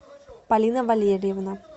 полина валерьевна